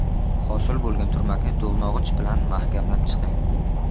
Hosil bo‘lgan turmakni to‘g‘nog‘ich bilan mahkamlab chiqing.